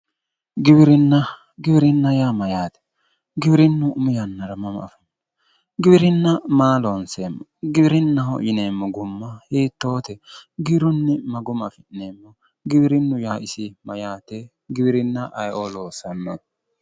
Giwirinna, giwirinna yaa mayyaate? Giwirinnu umi yannara mama afamino? giwirinna maa loonseemmo? Giwirinnaho yineemmo gumma hiittote? giwirinnu maa guma afi'neemmo? giwirinnu yaa isi maati? giwirinna ayeeo loossanno?